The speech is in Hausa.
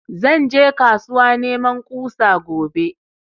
Zan je kasuwa neman ƙusa gobe